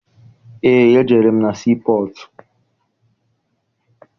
Eé, ejere m na sii pọtụ.